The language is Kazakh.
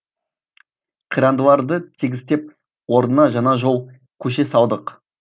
қирандыларды тегістеп орнына жаңа жол көше салдық